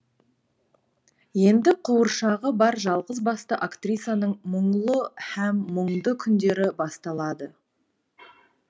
енді қуыршағы бар жалғызбасты актрисаның мұңлы һәм мұңды күндері басталады